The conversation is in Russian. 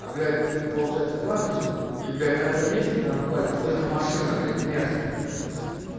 а блять получается клад лежит и блять на этом месте прям на кладе стоит машина блять мерс